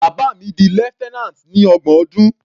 Bàbá mi di lieutenant ní ọgbọ̀n ọdún.